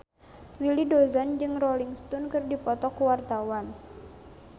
Willy Dozan jeung Rolling Stone keur dipoto ku wartawan